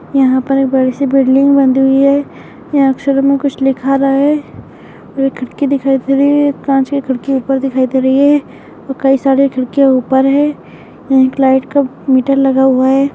यहाँ पर एक बड़ी सी बिल्डिंग बनी हुई हैं यहाँ अक्षरों में कुछ लिखा रहा हैं और एक खिड़की दिखाई दे रही हैं एक कांच की खिड़की ऊपर दिखाई दे रही हैं और कई सारी खिड़कियाँ ऊपर हैं एक लाइट का मीटर लगा हुआ हैं।